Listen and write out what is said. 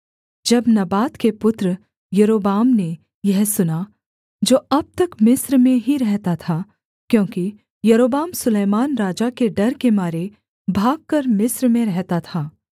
जब नबात के पुत्र यारोबाम ने यह सुना जो अब तक मिस्र में ही रहता था क्योंकि यारोबाम सुलैमान राजा के डर के मारे भागकर मिस्र में रहता था